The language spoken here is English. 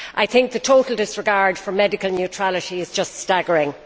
I think the total disregard for medical neutrality is just staggering.